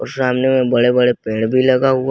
सामने में बड़े बड़े पेड़ भी लगा हुआ--